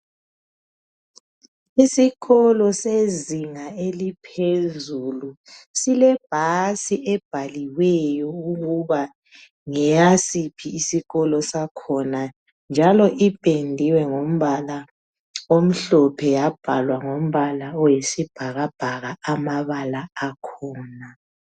Isikolo sezinga eliphezulu silebhasi ebhaliweyo ukuba ngeyasiphi isikolo sakhona njalo ipendiwe ngombala omhlophe yabhalwa ngombala oyisibhakabhaka amabala akhona.